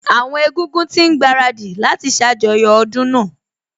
Àwọn Egúngún ti ń gbaradì láti ṣàjọyọ̀ ọdún náà